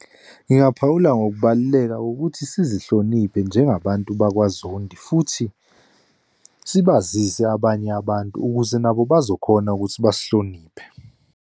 Ngingaphawula ngokubaluleka ukuthi sizihloniphe njengabantu bakwaZondi, futhi sibazise abanye abantu ukuze nabo bazokhona ukuthi basihloniphe.